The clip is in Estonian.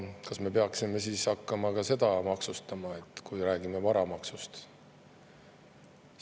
Kas me peaksime hakkama ka seda maksustama, kui räägime varamaksust?